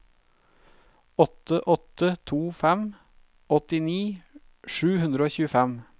åtte åtte to fem åttini sju hundre og tjuefem